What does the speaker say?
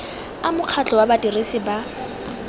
a mokgatlho wa badirisi ba